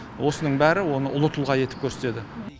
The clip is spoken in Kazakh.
осының бәрі оны ұлы тұлға етіп көрсетеді